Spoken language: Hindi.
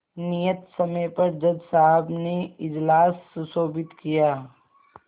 नियत समय पर जज साहब ने इजलास सुशोभित किया